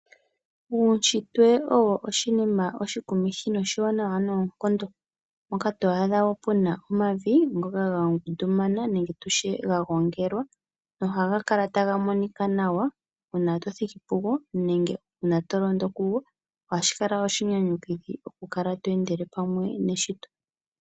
Uushitwe owo oshinima oshikumithi noshiwanawa noonkondo, mpoka to adha omavi ga ngundumana nenge tutye ga gongelwa nohaga kala taga monika nawa uuna wathiki pugo nenge tolondo kugo, ohashi kala oshinyanyudhi okukala to endele pamwe neshito.